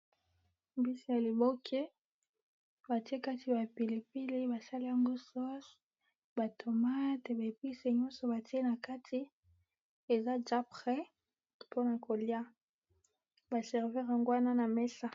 Mbisi ya liboke batiye nakati bapilipili basaliyango sauce eza deja pres batiye yango likolo mesa